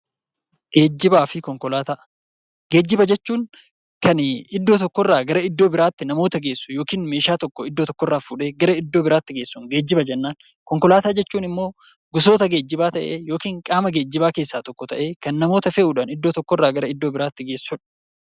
Geejjibaa fi konkolaataa Geejjiba jechuun kan iddoo tokko irraa gara iddoo biraatti kan namoota geessu yookaan meeshaa tokko iddoo tokko irraa fuudhee iddoo biraatti geessu geejjiba jennaan. Konkolaataa jechuun immoo gosoota geejjibaa ta'ee yookiin qaama geejjibaa keessaa tokko ta'ee, kan namoota fe'uudhaan iddoo biraa irraa gara iddoo biraatti geessu dha.